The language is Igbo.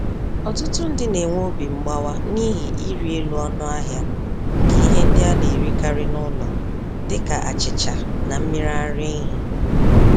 Ọtụtụ ndị n'enwe obi mgbawa n'ihi ịrị-elu-ọnụahịa nke ihe ndị anerikarị n'ụlọ, dịka achịcha na mmiri ara ehi.